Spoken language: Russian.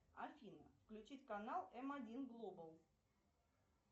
афина включить канал м один глобал